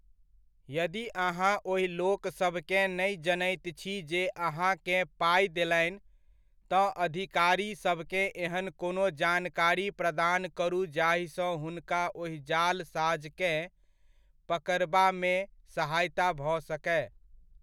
यदि अहाँ ओहि लोकसभकेँ नहि जनैत छी जे अहाँकेँ पाइ देलनि, तँ अधिकारिसभकेँ एहन कोनो जानकारी प्रदान करू जाहिसँ हुनका ओहि जालसाज़के पकड़बामे सहायता भऽ सकय।